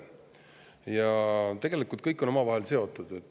Ja tegelikult kõik on omavahel seotud.